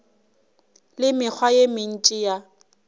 le mekgwa ye mentši ya